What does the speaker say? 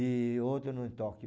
E outra no Tóquio.